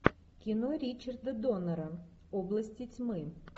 кино ричарда доннера области тьмы